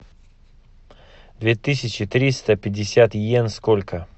две тысячи триста пятьдесят иен сколько